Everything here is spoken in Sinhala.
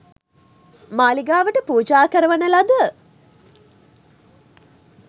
මාලිගාවට පූජා කරවන ලද